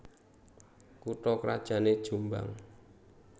Kutha krajané Jombang